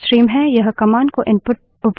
यह commands को input उपलब्ध कराता है